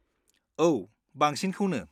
औ, बांसिनखौनो।